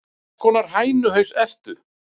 Hvers konar hænuhaus ertu?